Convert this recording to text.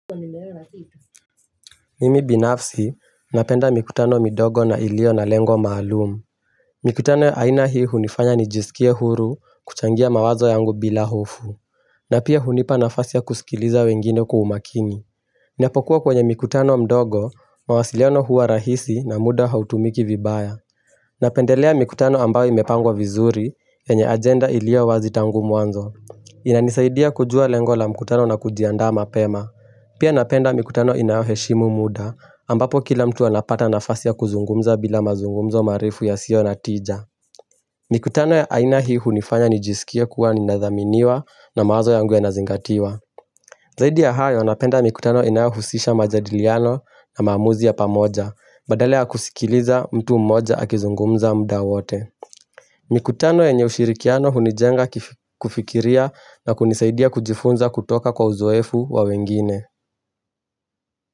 Mimi binafsi, napenda mikutano midogo na ilio na lengo maalumu. Mikutano ya aina hii hunifanya nijisikie huru kuchangia mawazo yangu bila hofu. Na pia hunipa nafasi ya kusikiliza wengine kwa umakini. Ninapokuwa kwenye mikutano mdogo, mawasiliano huwa rahisi na muda hautumiki vibaya. Napendelea mikutano ambayo imepangwa vizuri, yenye agenda ilio wazi tangu mwanzo. Inanisaidia kujua lengo la mikutano na kujiandaa mapema. Pia napenda mikutano inayo heshimu muda, ambapo kila mtu anapata nafasi ya kuzungumza bila mazungumzo marefu yasio natija. Mikutano ya aina hii hunifanya nijisikia kuwa ninathaminiwa na mawazo yangu ya nazingatiwa. Zaidi ya hayo napenda mikutano inayo husisha majadiliano na maamuzi ya pamoja, badala ya kusikiliza mtu mmoja akizungumza mda wote. Mikutano yenye ushirikiano hunijenga kufikiria na kunisaidia kujifunza kutoka kwa uzoefu wa wengine.